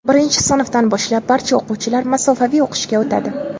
Birinchi sinfdan boshlab barcha o‘quvchilar masofaviy o‘qishga o‘tadi.